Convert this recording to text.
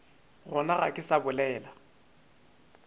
gona ga ke sa bolela